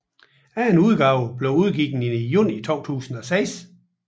Anden udgave blev udgivet i juni 2006